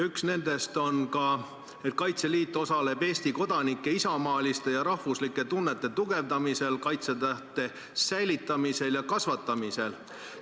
Üks nendest on, et Kaitseliit osaleb Eesti kodanike isamaaliste ja rahvuslike tunnete tugevdamisel, kaitsetahte säilitamisel ja kasvatamisel.